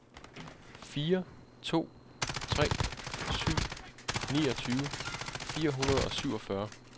fire to tre syv niogtyve fire hundrede og syvogfyrre